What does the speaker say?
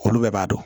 Olu bɛɛ b'a dɔn